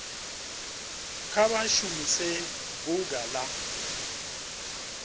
kha vha shumise bunga la